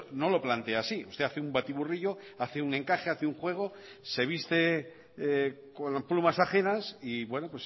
no lo plantea así usted hace un batiburrillo hace un encaje hace un juego se viste con plumas ajenas y bueno